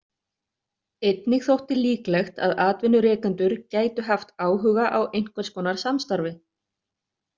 Einnig þótti líklegt að atvinnurekendur gætu haft áhuga á einhvers konar samstarfi.